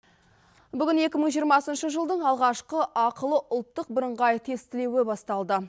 бүгін екі мың жиырмасыншы жылдың алғашқы ақылы ұлттық бірыңғай тестілеуі басталды